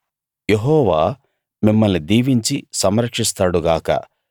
యెహోవా మిమ్మల్ని దీవించి సంరక్షిస్తాడు గాక